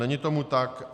Není tomu tak.